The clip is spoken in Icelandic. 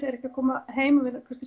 eru ekki að koma heim og við